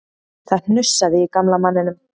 Það hnussaði í gamla manninum